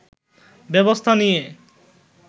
ব্যবস্থা নিয়ে